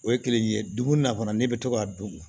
O ye kelen ye dugu na fana ne bɛ to k'a dun